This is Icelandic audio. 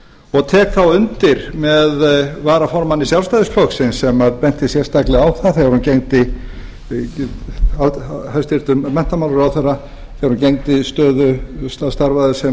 og tek þá undir með varaformanni sjálfstæðisflokksins hæstvirtur menntamálaráðherra sem benti sérstaklega á það þegar hún starfaði sem